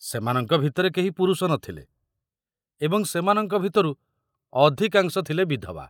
ସେମାନଙ୍କ ଭିତରେ କେହି ପୁରୁଷ ନ ଥିଲେ ଏବଂ ସେମାନଙ୍କ ଭିତରୁ ଅଧିକାଂଶ ଥିଲେ ବିଧବା।